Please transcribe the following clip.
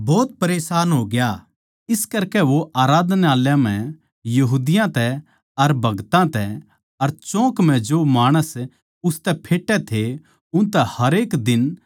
इस करकै म्ह वो आराधनालय म्ह यहूदियाँ तै अर भगतां तै अर चौक म्ह जो माणस उसतै फेटै थे उनतै हरेक दिन बहस करया करै था